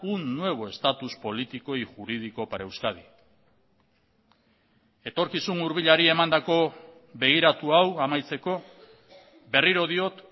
un nuevo estatus político y jurídico para euskadi etorkizun hurbilari emandako begiratu hau amaitzeko berriro diot